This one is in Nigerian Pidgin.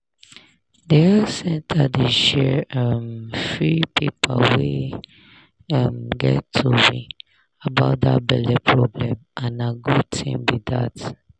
the health center dey share um free paper wey um get tory about that belle problem and na good thing be that